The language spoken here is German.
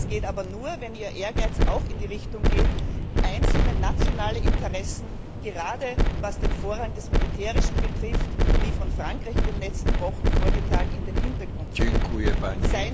Das geht aber nur, wenn Ihr Ehrgeiz auch in die Richtung geht, einzelne nationale Interessen gerade was den Vorrang des Militärischen betrifft, wie von Frankreich in den letzten Wochen vorgetragen in den Hintergrund zu rücken.